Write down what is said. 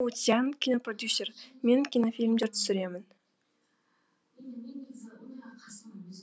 у цзянь кинопродюсер мен кинофильмдер түсіремін